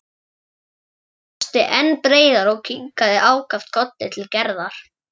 Tóti brosti enn breiðar og kinkaði ákaft kolli til Gerðar.